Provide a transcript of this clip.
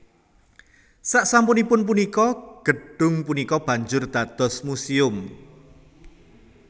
Sasampunipun punika gedhung punika banjur dados muséum